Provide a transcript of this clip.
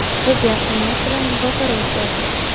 Biz yaxshi niyat bilan muzokara o‘tkazdik.